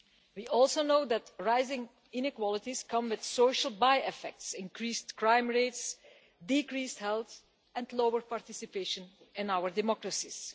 We also know that rising inequalities come with social by effects increased crime rates, decreased health, and lower participation in our democracies.